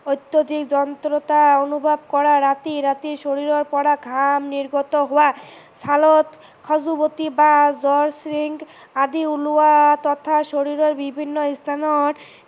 অত্যাধিক যন্ত্ৰণা অনুভৱ কৰা, ৰাতি ৰাতি শৰীৰৰ পৰা ঘাম নিৰ্গত হোৱা, চালত খজুৱতি বা জ্বৰ শুং আদি উলোৱা তথা শৰীৰৰ বিভিন্ন